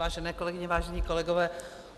Vážené kolegyně, vážení kolegové.